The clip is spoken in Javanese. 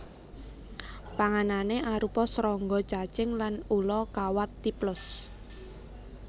Panganané arupa srangga cacing lan ula kawat Typhlops